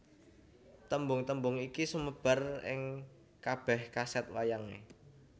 Tembung tembung iki sumebar ing kabèh kasèt wayangé